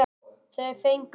Þau fengu það.